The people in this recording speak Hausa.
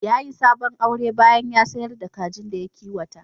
Ya yi sabon aure bayan da ya sayar da kajin da ya kiwata.